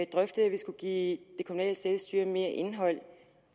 drøftet at vi skulle give det kommunale selvstyre mere indhold